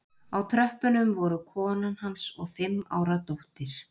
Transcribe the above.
Á tröppunum voru konan hans og fimm ára dóttir